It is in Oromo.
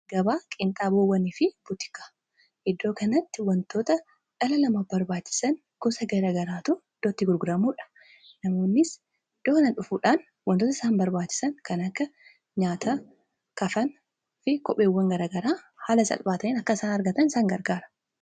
gabaa qiinxaaboowwanii fi butikaa iddoo kanatti wantoota dhala namaaf barbaachisan gosa garagaraatu idoo itti gurguramuudha. namoonnis iddoon kana dhufuudhaan wantoota isaan barbaachisan kan akka nyaata kafanaa fi kopheewwan garaagaraa haala salphaatiin akka isaan argatan isaan gargaara.